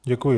Děkuji.